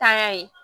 Tanya ye